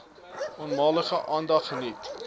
onmiddellik aandag geniet